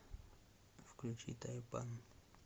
включи тайпан